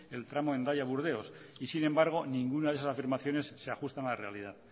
el tramo hendaia burdeos y sin embargo ninguna de esas afirmaciones se ajustan a la realidad